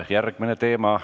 Järgmine teema.